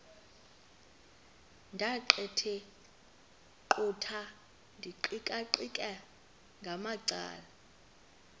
ndaqetheqotha ndiqikaqikeka ngamacala